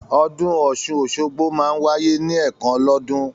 Ọdún Ọ̀sun-Osogbo máa ń wáyé ní ẹ̀kan lọ́dún